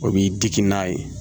O b'i digi n'a ye